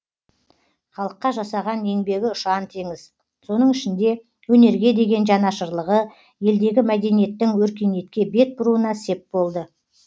халыққа жасаған еңбегі ұшаң теңіз соның ішінде өнерге деген жанашырлығы елдегі мәдениеттің өркениетке бет бұруына сеп болды